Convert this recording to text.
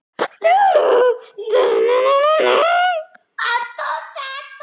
Og fyrir það hef ég goldið beisklega.